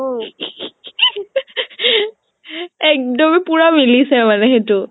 একদম পুৰা মিলিছে মানে সেইতো